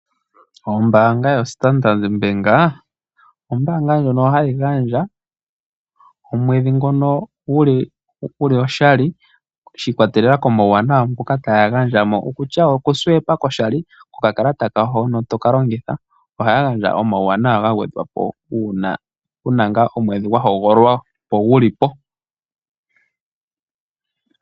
Ombaanga yo Standard Ombaanga ndjono hayi gandja omwedhi ngono guli oshali shi ikwatelela komawuwanawa ngoka taya gandja, okutya oku futa nokakalata kawo hono tokalongitha . Ohaya gandja omawuwanawa ga gwedhwapo uuna wuna ngaa omwedhi gwa hogololwa gulipo.